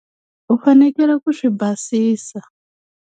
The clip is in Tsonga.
U fanekele ku swi basisa.